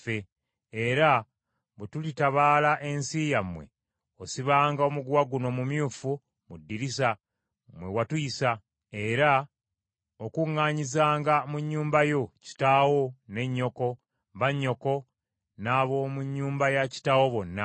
era bwe tulitabaala ensi yammwe, osibanga omuguwa guno omumyufu mu ddirisa mwe watuyisa era okuŋŋaanyizanga mu nnyumba yo, kitaawo, ne nnyoko, bannyoko n’ab’omu nnyumba ya kitaawo bonna.